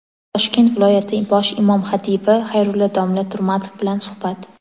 Toshkent viloyati bosh imom xatibi Xayrulla domla Turmatov bilan suhbat.